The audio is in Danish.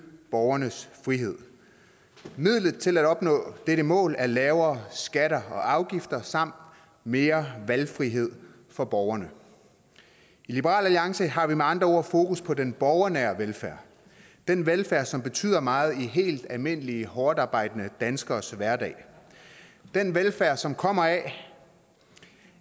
borgernes frihed midlet til at opnå dette mål er lavere skatter og afgifter samt mere valgfrihed for borgerne i liberal alliance har vi med andre ord fokus på den borgernære velfærd den velfærd som betyder meget i helt almindelige hårdtarbejdende danskeres hverdag den velfærd som kommer